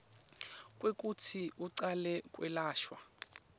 kwekutsi ucale kwelashwa